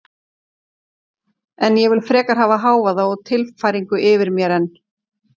En ég vil frekar hafa hávaða og tilfæringar yfir mér en